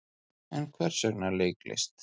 En hvers vegna leiklist?